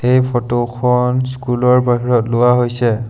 এই ফটো খন স্কুল ৰ বাহিৰত লোৱা হৈছে।